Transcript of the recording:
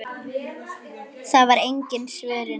Það var engin svörun.